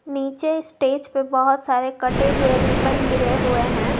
नीचे स्टेज पे बहोत सारे कटे हुए रिबन गिरे हुए हैं।